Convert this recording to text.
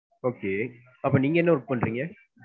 Okay அப்ப நீங்க என்ன work பண்றீங்க?